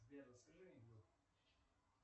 сбер расскажи анекдот